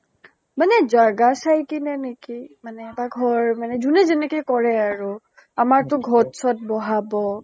মানে জেগা চাই কেনে নেকি ? মানে এটা ঘৰ মানে যোনে যেনেকে কৰে আৰু । আমাৰ তো ঘট চত বহাব